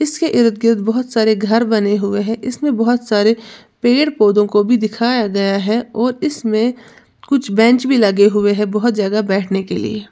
इसके इर्द गिर्द बोहोत सारे घर बने हुए हैं इसमें बोहोत सारे पेड़-पौधों को भी दिखाया गया है और इसमें कुछ बेंच भी लगे हुए हैं बोहोत जगह बैठने के लिए।